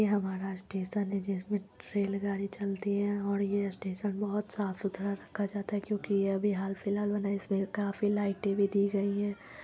ये हमारा स्टेशन हैं जिसमे रेल गाड़ी चलती हैं और ये स्टेशन बहुत साफ सुथरा रखा जाता हैं क्यूंकि ये अभी हाल फिलहाल बना है इसमें काफी लाइटें भी दी गई हैं